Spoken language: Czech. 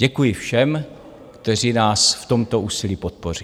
Děkuji všem, kteří nás v tomto úsilí podpoří.